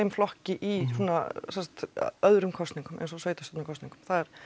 flokki í svona sem sagt öðrum kosningum eins og sveitarstjórnarkosningum